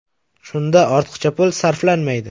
Shunda ortiqcha pul sarflanmaydi.